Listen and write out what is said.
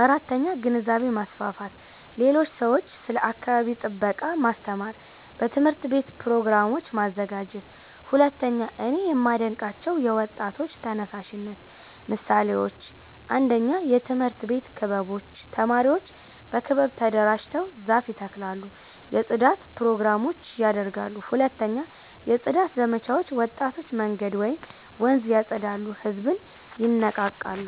4. ግንዛቤ ማስፋፋት ሌሎች ሰዎችን ስለ አካባቢ ጥበቃ ማስተማር በትምህርት ቤት ፕሮግራሞች ማዘጋጀት 2)እኔ የማዴንቃቸው የወጣቶች ተነሳሽነት ምሳሌዎች 1 የትምህርት ቤት ክበቦች ተማሪዎች በክበብ ተደራጅተው ዛፍ ይተክላሉ የጽዳት ፕሮግራሞች ያደርጋሉ 2 የጽዳት ዘመቻዎች ወጣቶች መንገድ ወይም ወንዝ ያፀዳሉ ህዝብን ይነቃቃሉ